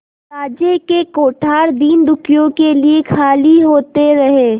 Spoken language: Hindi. राज्य के कोठार दीनदुखियों के लिए खाली होते रहे